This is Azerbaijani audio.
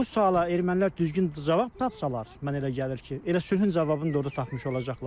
Bu suala ermənilər düzgün cavab tapsalar, mən elə gəlir ki, elə sülhün cavabını da orda tapmış olacaqlar.